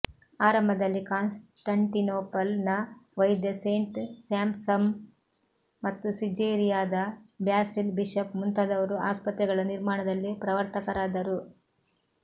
ಆರಂಭದಲ್ಲಿ ಕಾನ್ಸಟಂಟಿನೊಪಲ್ ನ ವೈದ್ಯ ಸೇಂಟ್ ಸ್ಯಾಂಪ್ಸಮ್ ಮತ್ತು ಸಿಜೇರಿಯಾದ ಬ್ಯಾಸಿಲ್ ಬಿಶಪ್ ಮುಂತಾದವರು ಆಸ್ಪತ್ರೆಗಳ ನಿರ್ಮಾಣದಲ್ಲಿ ಪ್ರವರ್ತಕರಾದರು